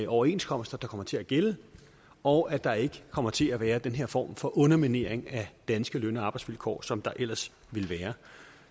overenskomster der kommer til at gælde og at der ikke kommer til at være den her form for underminering af danske løn og arbejdsvilkår som der ellers ville være